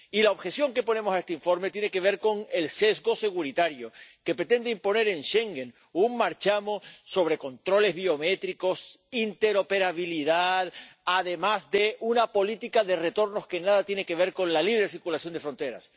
Y la objeción que ponemos a este informe tiene que ver con el sesgo securitario que pretende imponer en Schengen un marchamo sobre controles biométricos e interoperabilidad, además de una política de retornos que nada tiene que ver con la libre de circulación entre fronteras.